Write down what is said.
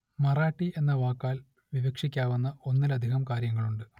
മറാഠി എന്ന വാക്കാൽ വിവക്ഷിക്കാവുന്ന ഒന്നിലധികം കാര്യങ്ങളുണ്ട്